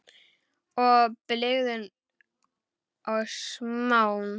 Í blygðun og smán.